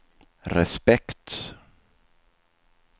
respekt